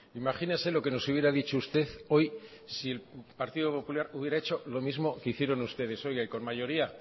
imagínese lo que nos hubiera dicho usted hoy si el partido popular hubiera hecho lo mismo que hicieron ustedes oiga y con mayoría